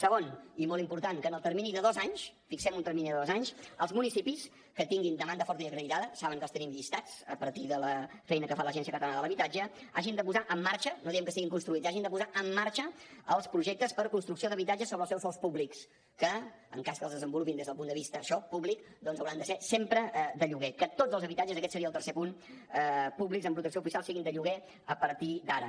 segon i molt important que en el termini de dos anys fixem un termini de dos anys els municipis que tinguin demanda forta i acreditada saben que els tenim llistats a partir de la feina que fa l’agència catalana de l’habitatge hagin de posar en marxa no diem que siguin construïts hagin de posar en marxa els projectes per construcció d’habitatges sobre els seus sòls públics que en cas que els desenvolupin des del punt de vista això públic doncs hauran de ser sempre de lloguer que tots els habitatges aquest seria el tercer punt públics en protecció oficial siguin de lloguer a partir d’ara